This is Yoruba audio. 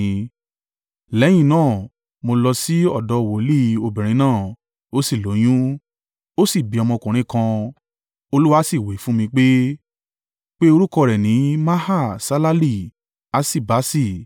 Lẹ́yìn náà, mo lọ sí ọ̀dọ̀ wòlíì obìnrin náà, ó sì lóyún, ó sì bí ọmọkùnrin kan. Olúwa sì wí fún mi pé, “Pe orúkọ rẹ̀ ní Maha-Ṣalali-Haṣi-Basi.